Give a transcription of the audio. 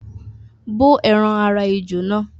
bó ẹran ara ejò náà